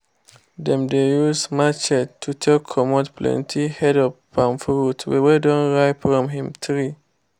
dem dey use matchetes to take comot plenty heads of palm fruit wey don ripe from im tree.